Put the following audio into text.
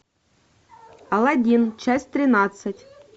алладин часть тринадцать